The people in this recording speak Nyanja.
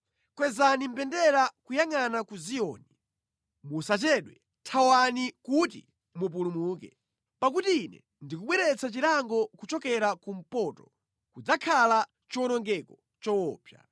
Kwezani mbendera kuyangʼana ku Ziyoni! Musachedwe, thawani kuti mupulumuke! Pakuti Ine ndikubweretsa chilango kuchokera kumpoto, kudzakhala chiwonongeko choopsa.”